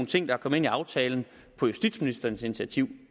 ting der er kommet ind i aftalen på justitsministerens initiativ